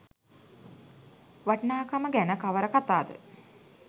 වටිනාකම ගැන කවර කතා ද?